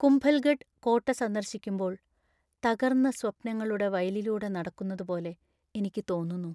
കുംഭൽഗഡ് കോട്ട സന്ദർശിക്കുമ്പോൾ തകർന്ന സ്വപ്നങ്ങളുടെ വയലിലൂടെ നടക്കുന്നതുപോലെ എനിക്ക് തോന്നുന്നു.